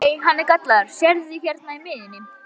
Nei, hann er gallaður, sérðu hérna í miðjunni.